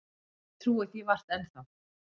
Ég trúi því vart enn þá.